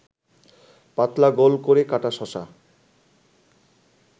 পাতলা গোল করে কাটা শশা